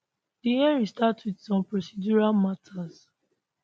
di hearing start wit some procedural matters